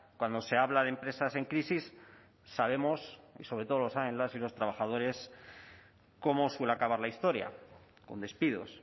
cuando se habla de empresas en crisis sabemos y sobre todo lo saben las y los trabajadores cómo suele acabar la historia con despidos